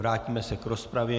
Vrátíme se k rozpravě.